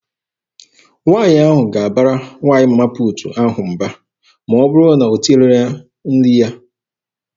Nwaanyị ahụ ga-abara nwaanyị Mama puutu ahụ mba ma ọ bụrụ na o tinyereghị ya nri ya.